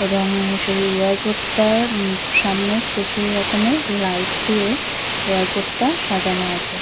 এবং সেই এয়ারপোর্ট টার সামনে প্রচুর রকমের লাইট দিয়ে এয়ারপোর্ট সাজানো আছে ।